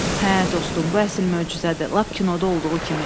Hə, dostum, bu əsl möcüzədir, lap kinoda olduğu kimi.